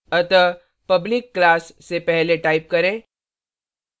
अतः public class से पहले type करें